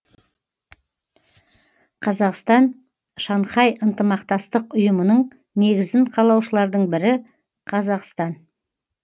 қазақстан шанхай ынтымақтастық ұйымының негізін қалаушылардың бірі қазақстан